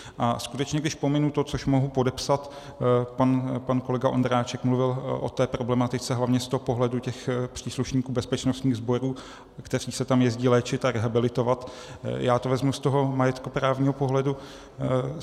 A skutečně, když pominu to, což mohu podepsat - pan kolega Ondráček mluvil o té problematice hlavně z toho pohledu těch příslušníků bezpečnostních sborů, kteří se tam jezdí léčit a rehabilitovat, já to vezmu z toho majetkoprávního pohledu.